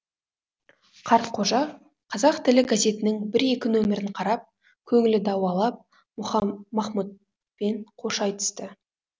қартқожа қазақ тілі газетінің бір екі нөмірін қарап көңілі дауалап махмұтпен қош айтысты